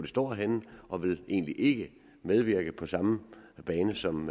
står henne og vil egentlig ikke medvirke på samme bane som